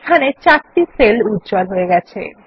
এখানে চারটি সেল উজ্জ্বল হয়েছে